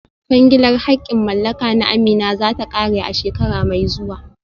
Kwangilar haƙƙin mallaka na Amina za ta ƙare a shekara mai zuwa